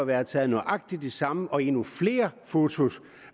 været taget nøjagtig det samme og endnu flere fotos